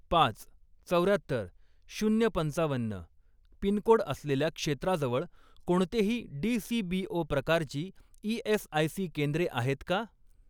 पाच, चौर्यात्तर, शून्य पंचावन्न पिनकोड असलेल्या क्षेत्राजवळ कोणतेही डीसीबीओ प्रकारची ई.एस.आय.सी. केंद्रे आहेत का?